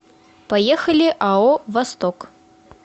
поехали ао восток